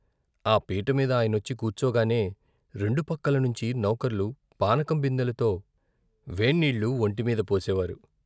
ఆ పీటమీద ఆయనొచ్చి కూర్చోగానే, రెండు పక్కల నుంచి నౌకర్లు పానకం బిందెలతో వేన్నీళ్లు మౌంటిమీద పోసేవారు.